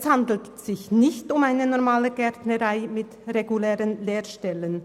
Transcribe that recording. Es handelt sich bei der Gartenbauschule Hünibach nicht um eine normale Gärtnerei mit regulären Lehrstellen.